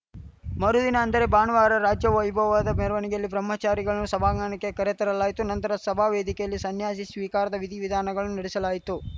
ಮರುದಿನ ಅಂದರೆ ಭಾನುವಾರ ರಾಜವೈಭವದ ಮೆರವಣಿಗೆಯಲ್ಲಿ ಬ್ರಹ್ಮಚಾರಿಗಳನ್ನು ಸಭಾಂಗಣಕ್ಕೆ ಕರೆತರಲಾಯಿತು ನಂತರ ಸಭಾವೇದಿಕೆಯಲ್ಲಿ ಸನ್ಯಾಸಿ ಸ್ವೀಕಾರದ ವಿಧಿವಿಧಾನಗಳನ್ನು ನಡೆಸಲಾಯಿತು